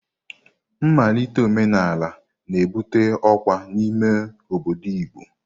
Nmalite omenala na-ebute ọkwa n'ime obodo Igbo.